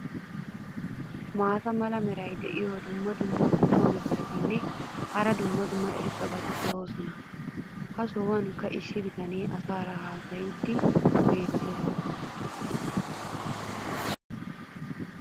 maata mala meray diyo dumma dumma qommo mitattinne hara dumma dumma irxxabati de'oosona. ha sohuwankka issi bitanee asaara haasayiidi beetees.